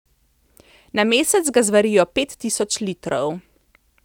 Na mesec ga zvarijo pet tisoč litrov.